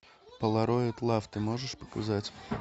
полароид лав ты можешь показать